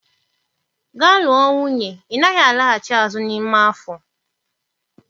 Gaa lụọ nwunye ị naghị alaghachi azụ n'ime afọ